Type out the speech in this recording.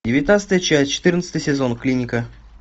девятнадцатая часть четырнадцатый сезон клиника